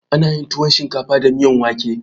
Ana yin tuwon shinkafa da miyan wake.